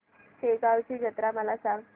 शेगांवची जत्रा मला सांग